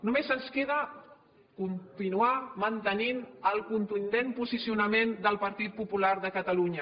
només ens queda continuar mantenint el contundent posicionament del partit popular de catalunya